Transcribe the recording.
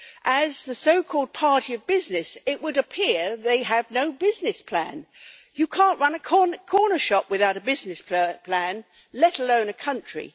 As the so called party of business', it would appear they have no business plan. You can't run a corner shop without a business plan, let alone a country.